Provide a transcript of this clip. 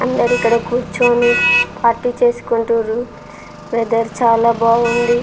అందరు ఇక్కడ కూర్చొని పార్టీ చేసుకుంటారు వెదర్ చాలా బాగుంది.